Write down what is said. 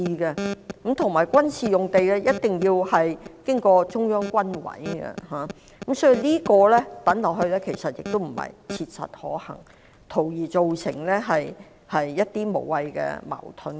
況且，軍事用地的事宜一定要經過中央軍委審批，所以軍事用地作為選項並非切實可行，只會造成一些無謂矛盾。